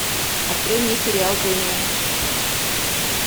открой мне сериал дэмиен